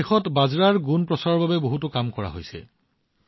আজি দেশত বাজৰাৰ প্ৰচাৰৰ বাবে বহুতো কাম কৰা হৈছে